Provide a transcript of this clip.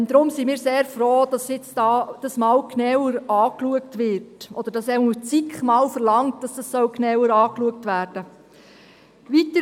Deshalb sind wir sehr froh, dass dies genauer angeschaut wird, oder dass zumindest die SiK verlangt, dass dies genauer angeschaut werden soll.